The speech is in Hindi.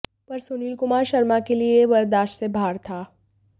पर सुनील कुमार शर्मा के लिए ये बर्दाश्त से बहार था